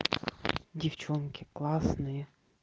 девчонки классные